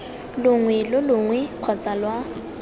longwe lo longwe kgotsa lwa